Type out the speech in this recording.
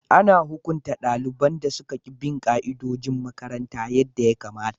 Ana hukunta daliban da suka ki bin ka'idojin makaranta yadda ya kamata.